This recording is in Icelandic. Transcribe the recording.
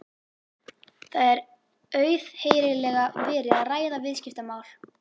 Það er auðheyrilega verið að ræða viðskiptamál.